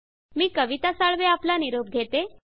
मी कविता साळवे आपला निरोप घेते